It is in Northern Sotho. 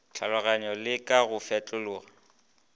tlhaloganyo le ka go fetlekolla